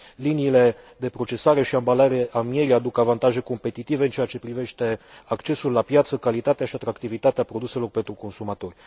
Liniile de procesare și ambalare a mierii aduc avantaje competitive în ceea ce privește accesul la piață, calitatea și atractivitatea produselor pentru consumatori.